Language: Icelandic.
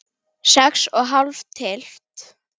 Sex er hálf tylft.